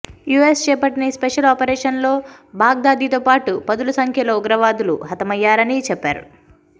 US చేపట్టిన ఈ special operation లో బగ్దాదీతో పాటు పదుల సంఖ్యలో ఉగ్రవాదులు హతమయ్యారని చెప్పారు